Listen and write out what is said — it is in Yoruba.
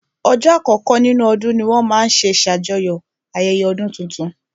Ọjọ́ àkọkọ́ nínú ọdún ní wọ́n máa n ṣe ṣàjọyọ̀ ayẹyẹ ọdún tuntun